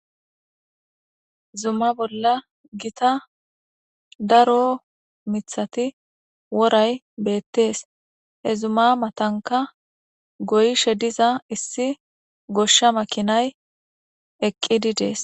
zumma bolla gita daro mithati woray beettees he zumma matanka goyishe diza issi goshsha makinay eqidi dees.